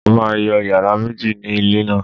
Mo máa yọ yàrá méjì ni ilé náà